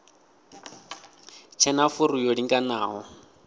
tshe na furu yo linganaho